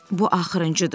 Bu axırıncıdır.